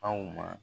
Aw ma